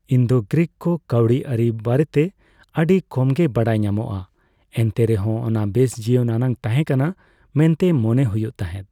Indo Greek ᱠᱚ ᱠᱟᱹᱣᱰᱤᱟᱹᱨᱤ ᱵᱟᱨᱮᱛᱮ ᱟᱹᱰᱤ ᱠᱚᱢᱜᱮ ᱵᱟᱰᱟᱭ ᱧᱟᱢᱚᱜᱼᱟ, ᱮᱱᱛᱮᱨᱮᱦᱚᱸ ᱚᱱᱟ ᱵᱮᱥ ᱡᱤᱭᱚᱱ ᱟᱱᱟᱜ ᱛᱟᱦᱮᱸ ᱠᱟᱱᱟ ᱢᱮᱱᱛᱮ ᱢᱚᱱᱮ ᱦᱩᱭᱩᱜ ᱛᱟᱦᱮᱸᱫ ᱾